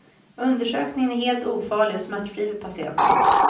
Undersökningen är helt ofarlig och smärtfri för patienten.